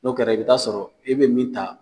N'o kɛra i bɛ taa sɔrɔ ɛ bɛ min ta